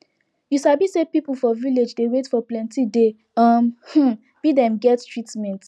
you sabi say people for village dey wait for plenti day um hmm be dem get treatment